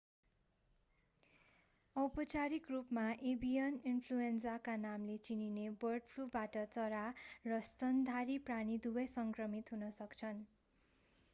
औपचारिक रूपमा एभियन इन्फ्लुएन्जाका नामले चिनिने बर्ड फ्लुबाट चरा र स्तनधारी प्राणी दुवै सङ्क्रमित हुन सक्छन्